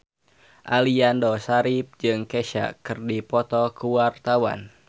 Aliando Syarif jeung Kesha keur dipoto ku wartawan